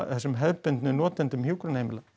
þessum hefðbundnu notendum hjúkrunarheimila